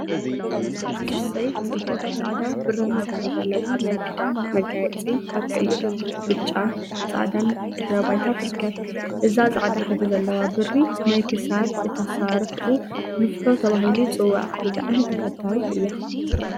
እሰይ ፅብቅቲ ፃዕዳ ብራማ ሕብሪ ዘለዋ ናይ ክዳድ መጋየፂ አብ ቀይሕ፣ ብጫን ፃዕዳን ድሕረ ባይታ ትርከብ። እዛ ፃዕዳ ሕብሪ ዘለዋ ብሪ ናይ ክሳድ እቲ አሰራርሕኡ ንፍሖ ተባሂሉ ይፅዋዕ። ብጣዕሚ ተፈታዊት እያ።